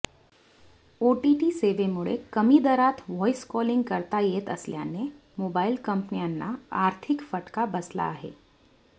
OTT सेवेमुळे कमी दरात व्हाईस कॉलिंग करता येत असल्याने मोबाईल कंपन्यांना आर्थिक फटका बसला आहे